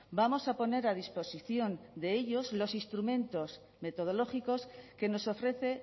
vamos a poner a disposición de ellos los instrumentos metodológicos que nos ofrece